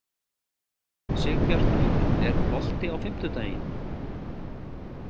Sigbjartur, er bolti á fimmtudaginn?